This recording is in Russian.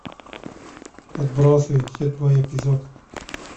отбросы седьмой эпизод